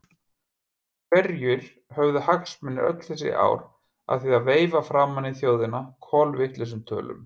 Hverjir höfðu hagsmuni öll þessi ár af því að veifa framan í þjóðina kolvitlausum tölum?